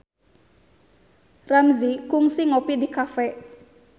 Ramzy kungsi ngopi di cafe